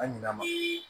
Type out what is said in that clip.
An ɲina ma ye